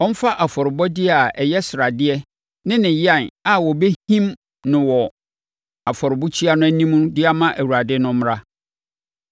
Ɔmfa afɔrebɔdeɛ a ɛyɛ sradeɛ ne ne yan a wɔbɛhim no afɔrebukyia no anim de ama Awurade no mmra.